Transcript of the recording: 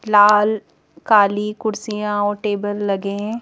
लाल काली कुर्सियाँ और टेबल लगे हैं।